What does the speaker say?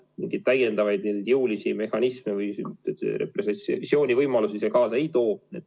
Mingeid täiendavaid ja jõulisi mehhanisme, repressioonivõimalusi see kaasa ei too.